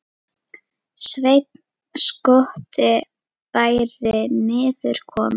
Sveinn skotti væri niður kominn.